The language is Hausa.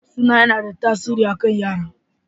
Suna yana da tasiri a kan yara.